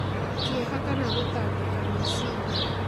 kĩeha, kana gũtangĩka meciria,